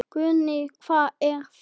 Guðný: Hvað er þetta?